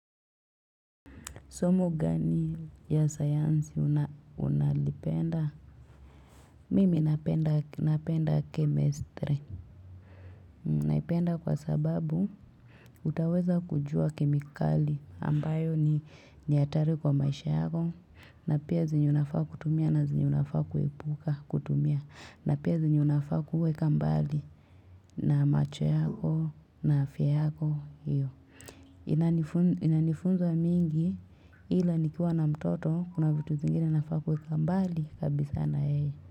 Somo gani ya sayansi unalipenda? Mimi napenda chemistry. Naipenda kwa sababu, utaweza kujua kemikali ambayo ni atari kwa maisha yako. Na pia zenye unafaa kutumia na zenye unafaa kuepuka kutumia, na pia zenye unafaa kuweka mbali na macho yako na afya yako. Hio inani inanifunza mingi ila nikiwa na mtoto kuna vitu zingine nafaa kuweka mbali kabisa na yeye.